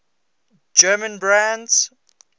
german brands